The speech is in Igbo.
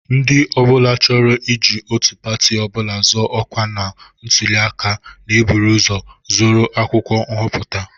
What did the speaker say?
Ndị ọ bụla chọrọ iji otu pati ọ bụla zọọ ọkwa na ntụli aka na-eburu ụzọ zụrụ akwụkwọ nhọpụta